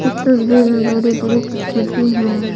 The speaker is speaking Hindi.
इस तस्वीर में बड़े-बड़े पत्थर भी हैं।